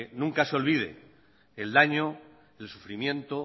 nunca se olvide el daño el sufrimiento